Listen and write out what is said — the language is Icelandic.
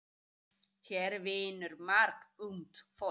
Hér vinnur margt ungt fólk.